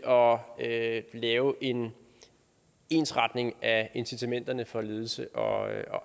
og af at lave en ensretning af incitamenterne for ledelse og